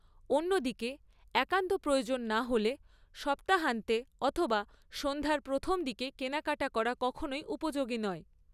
অন্যদিকে, একান্ত প্রয়োজন না হলে সপ্তাহান্তে অথবা সন্ধ্যার প্রথম দিকে কেনাকাটা করা কখনই উপযোগী নয়।